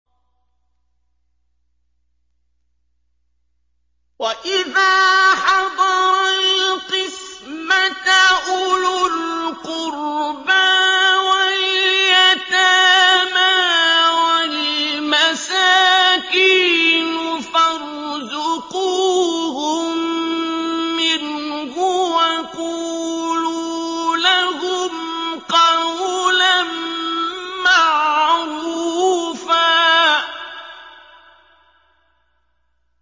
وَإِذَا حَضَرَ الْقِسْمَةَ أُولُو الْقُرْبَىٰ وَالْيَتَامَىٰ وَالْمَسَاكِينُ فَارْزُقُوهُم مِّنْهُ وَقُولُوا لَهُمْ قَوْلًا مَّعْرُوفًا